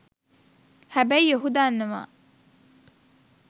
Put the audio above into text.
හැබැයි ඔහු දන්නවා